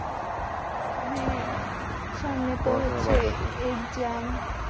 হ্যাঁ সামনে তো হচ্ছে exam